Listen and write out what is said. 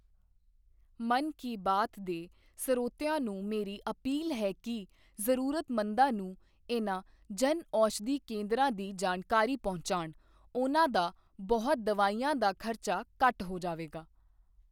ਮਨ ਕੀ ਬਾਤ ਦੇ ਸਰੋਤਿਆਂ ਨੂੰ ਮੇਰੀ ਅਪੀਲ ਹੈ ਕਿ ਜ਼ਰੂਰਤਮੰਦਾਂ ਨੂੰ ਇਨ੍ਹਾਂ ਜਨ ਔਸ਼ਧੀ ਕੇਂਦਰਾਂ ਦੀ ਜਾਣਕਾਰੀ ਪਹੁੰਚਾਉਣ ਉਨ੍ਹਾਂ ਦਾ ਬਹੁਤ ਦਵਾਈਆਂ ਦਾ ਖ਼ਰਚਾ ਘੱਟ ਹੋ ਜਾਵੇਗਾ।